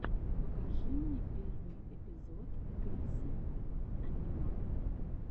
покажи мне первый эпизод крисса анимака